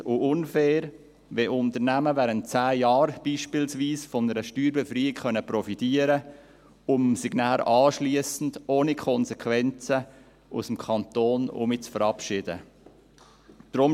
Es ist stossend und unfair, wenn Unternehmen beispielsweise während 10 Jahren von einer Steuererleichterung profitieren können und sich nachher ohne Konsequenzen aus dem Kanton verabschieden können.